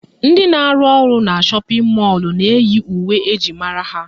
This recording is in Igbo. Ndị na-arụ ọrụ na shọpịn mọlụ na-eyi uwe eji mara ha